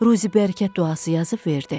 Ruzi-bərəkət duası yazıb verdi.